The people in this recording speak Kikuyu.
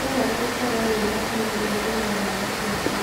Nĩwega gũkorwo wĩmakini ũkĩnyua dawa ciaku.